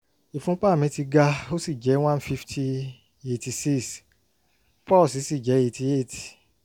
ìfúnpá mi ti ga ó sì jẹ́ 150/86 pọ́ọ̀sì sì jẹ́ 88